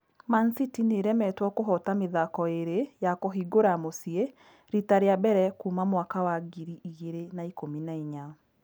Man-City nĩĩremetwo kũhota mĩthako ĩĩrĩ ya kũhingũra mũciĩ rita rĩa mbere kuuma Mwaka wa ngiri igĩrĩ na ikũmi na inya